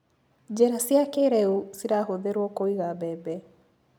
Njĩra cia kĩrĩu cirahũthĩruo kũiga mbembe.